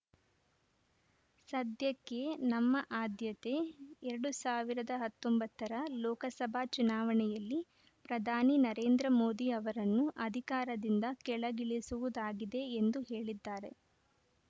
ಸದ್ಯಕ್ಕೆ ನಮ್ಮ ಆದ್ಯತೆ ಎರಡ್ ಸಾವಿರದ ಹತ್ತೊಂಬತ್ತ ರ ಲೋಕಸಭಾ ಚುನಾವಣೆಯಲ್ಲಿ ಪ್ರಧಾನಿ ನರೇಂದ್ರ ಮೋದಿ ಅವರನ್ನು ಅಧಿಕಾರದಿಂದ ಕೆಳಗಿಳಿಸುವುದಾಗಿದೆ ಎಂದು ಹೇಳಿದ್ದಾರೆ